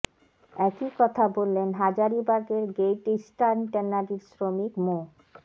একই কথা বললেন হাজারীবাগের গ্রেইট ইস্টার্ন ট্যানারির শ্রমিক মো